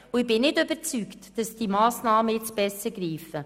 Ich bin nicht überzeugt, dass diese Massnahmen besser greifen.